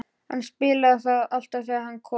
Hann spilaði það alltaf þegar hann kom.